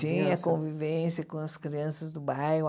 Tinha convivência com as crianças do bairro.